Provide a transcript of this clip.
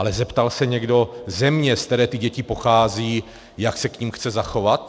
Ale zeptal se někdo země, ze které ty děti pocházejí, jak se k nim chce zachovat?